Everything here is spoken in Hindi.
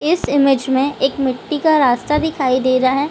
इस इमेज़ में एक मिट्टी का रास्ता दिखाई दे रहा है।